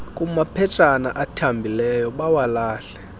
kumaphetshana athambileyo bawalahle